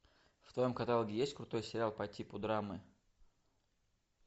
в твоем каталоге есть крутой сериал по типу драмы